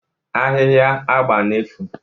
Ahịhịa agba na-efu